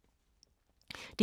DR2